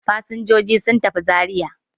Fasinjiji sun tafi Zariya.